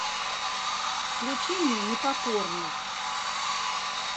включи мне непокорный